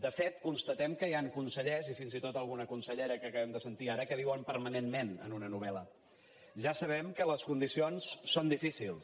de fet constatem que hi han consellers i fins i tot alguna consellera que acabem de sentir ara que viuen permanentment en una novelja sabem que les condicions són difícils